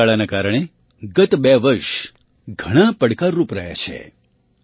રોગચાળાના કારણે ગત બે વર્ષ ઘણાં પડકારરૂપ રહ્યાં છે